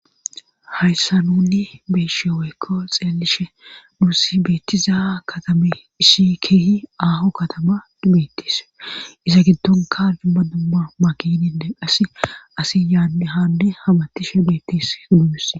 hayssa nunni beeshe weykko xeelishe nuus beettiza katame isshi keehi aaho katama dibettis iza giddonka dibma dumma magininne qasi asi yaa haande habattishe beettis udumis